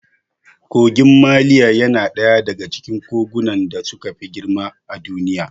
Kogin maliya yana ɗaya daga cikin kogunan da suka fi girma a Duniya.